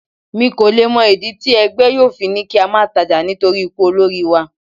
Mi kò le mọ ìdí tí ẹgbẹ́ yóò fi ní kí á máa tajà nítorí ikú olórí wa.